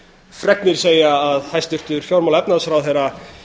fregnir segja að hæstvirtur fjármála og efnahagsráðherra